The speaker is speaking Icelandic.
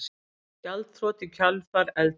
Gjaldþrot í kjölfar eldgoss